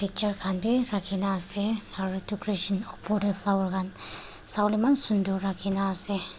chair khan bi rakhina asey aro decoration opor deh flower khan sawoleh eman sundor rakhina asey.